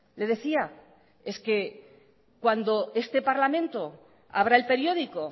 le decía es que cuando este parlamento abra el periódico